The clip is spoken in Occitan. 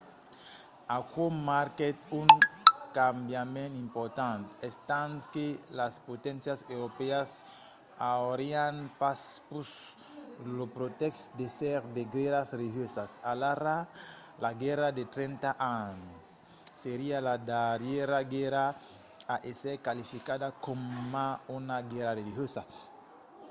aquò marquèt un cambiament important estant que las poténcias europèas aurián pas pus lo pretèxt d'èsser de guèrras religiosas. alara la guèrra de trenta ans seriá la darrièra guèrra a èsser qualificada coma una guèrra religiosa